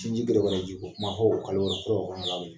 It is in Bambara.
Sinji dɔgɔdɔgɔnin diko kuma